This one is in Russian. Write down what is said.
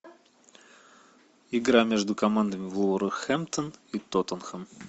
игра между командами вулверхэмптон и тоттенхэм